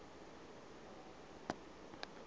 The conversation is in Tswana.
o na le madi a